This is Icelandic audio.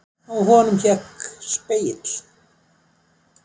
Á honum hékk spegill.